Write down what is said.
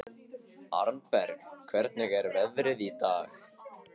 Arnberg, hvernig er veðrið í dag?